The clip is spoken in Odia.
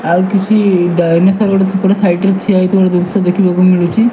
ଆଉ କିଛି ଡାଇନୋସର ଗୋଟେ ସେପଟ ସାଇଟ ରେ ଠିଆହେଇଥିବାର ଦୃଶ୍ୟ ଦେଖିବାକୁ ମିଳୁଚି।